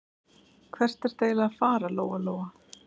Hvert ertu eiginlega að fara, Lóa-Lóa?